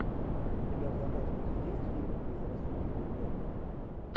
у тебя в загашнике есть фильм безрассудно влюбленные